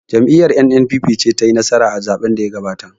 Jam'iyar 'N.N.P.P' ce ta yi nasara a zaɓen da ya gabata